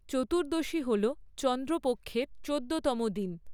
চতুর্দশী হল চন্দ্রপক্ষের চোদ্দতম দিন।